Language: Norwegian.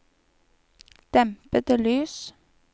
dempede lys